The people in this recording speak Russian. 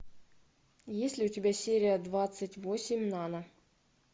есть ли у тебя серия двадцать восемь нана